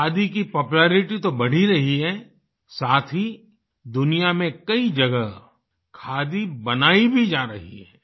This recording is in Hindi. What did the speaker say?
खादी की पॉपुलेरिटी तो बढ़ ही रही है साथ ही दुनिया में कई जगह खादी बनाई भी जा रही है